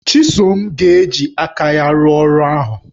Chisom ga-eji aka ya rụọ ọrụ ahụ